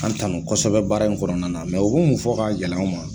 An tanu kosɛbɛ baara in kɔnɔna na, u bi mun fɔ ka gɛlɛya